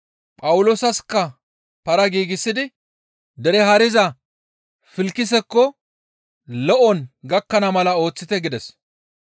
Phawuloosasikka para giigsidi dere haariza Filkisekko lo7on gakkana mala ooththite» gides.